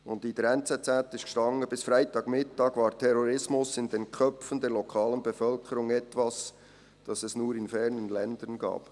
In der «Neue Zürcher Zeitung (NZZ)» stand: «Bis Freitagmittag war Terrorismus in den Köpfen der lokalen Bevölkerung etwas, das es nur in fernen Ländern gab.»